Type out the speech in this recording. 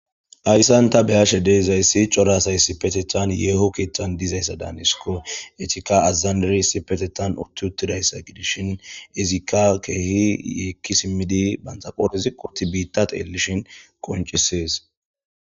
Hayssan ta beyashe deezayssi cora asay issipetethan yeeho keetthan dizayssa daanisiko etika azandari issipetetan uttiuttidayssa gidishin izikka keehi yeekki simmidi banxaqoorisi qurti biittat eelishin koncisees